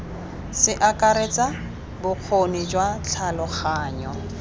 se akaretsa bokgoni jwa tlhaloganyo